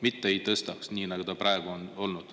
Mitte ei tõstaks, nii nagu praegu on olnud.